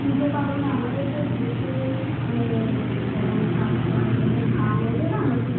পূজাপার্বন তো আমাদের দেশে মানে যখন চাষ বাস মানে যখন নতুন ধান উঠে